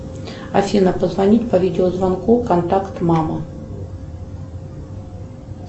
афина позвонить по видеозвонку контакт мама